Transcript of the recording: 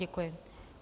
Děkuji.